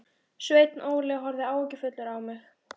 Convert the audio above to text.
Sveinn Óli horfði áhyggjufullur á mig.